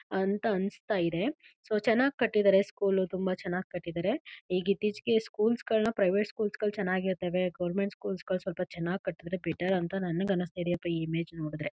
ಅಂತ ಅನ್ನಿಸ್ತಾ ಇದೆ ಸೊ ಚೆನ್ನಾಗಿ ಕಟ್ಟಿದ್ದಾರೆ ಸ್ಕೂಲು ತುಂಬಾ ಚೆನ್ನಾಗಿ ಕಟ್ಟಿದ್ದಾರೆ. ಈಗ ಇತ್ತೀಚಿಗೆ ಸ್ಕೂಲ್ ಗಳನ್ನು ಪ್ರೈವೇಟ್ ಸ್ಕೂಲ್ ಗಳು ಚೆನ್ನಾಗಿರುತ್ತವೆ. ಗೌರ್ನಮೆಂಟ್ ಸ್ಕೂಲ್ ಗಳು ಸ್ವಲ್ಪ ಚೆನ್ನಾಗಿ ಕಟ್ಟಿದರೆ ಬೆಟರ್ ಅಂತ ನನಗೆ ಅನ್ನಿಸ್ತಾ ಇದೆ ಈ ಇಮೇಜ್ ನೋಡಿದರೆ.